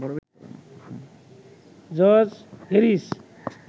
George Harris